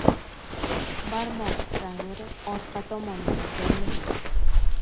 Barmoq skaneri orqa tomonida joylashgan.